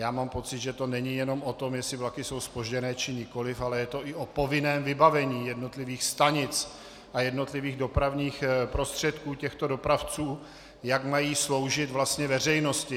A mám pocit, že to není jenom o tom, jestli vlaky jsou zpožděné, či nikoliv, ale je to i o povinném vybavení jednotlivých stanic a jednotlivých dopravních prostředků těchto dopravců, jak mají sloužit veřejnosti.